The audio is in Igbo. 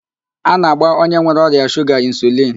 A na-agba onye nwere ọrịa shuga insulin.